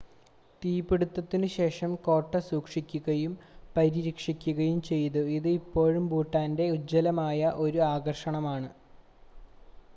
തീപിടുത്തത്തിനുശേഷം കോട്ട സൂക്ഷിക്കുകയും പരിരക്ഷിക്കുകയും ചെയ്തു ഇത് ഇപ്പോഴും ഭൂട്ടാൻ്റെ ഉജ്ജ്വലമായ 1 ആകർഷണമാണ്